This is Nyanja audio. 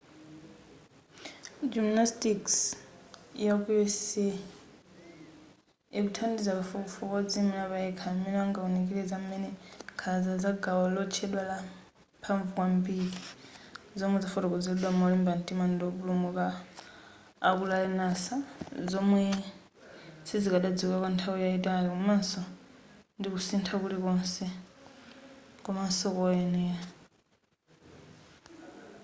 gymnastics yaku usa ikuthandiza kafukufuku odziyimira payekha amene angawunikire za m'mene nkhanza za gawo lotchedwa la mphamvu kwambiri zomwe zafotokozeredwa molimba mtima ndi opulumuka aku larry nassar zomwe sizikadadziwika kwanthawi yayitali komaso ndikusintha kulikonse komanso koyenera